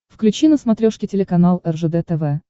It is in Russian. включи на смотрешке телеканал ржд тв